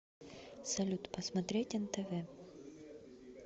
салют посмотреть нтв